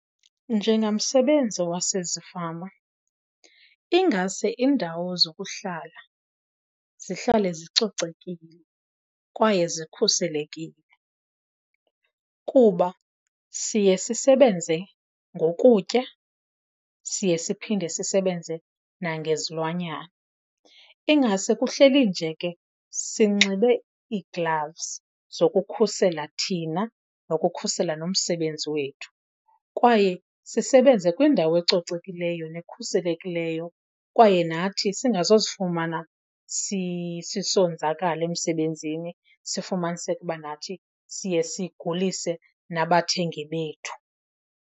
Njengamsebenzi wasezifama ingase iindawo zokuhlala zihlale zicocekile kwaye zikhuselekile kuba siye sisebenze ngokutya, siye siphinde sisebenze nangezilwanyana. Ingase kuhleli nje ke sinxibe ii-gloves zokukhusela thina nokukhusela nomsebenzi wethu kwaye sisebenze kwindawo ecocekileyo nekhuselekileyo. Kwaye nathi singazozifumana sisonzakala emsebenzini sifumaniseka uba nathi siye sigulise nabathengi bethu.